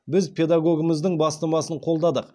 біз педагогіміздің бастамасын қолдадық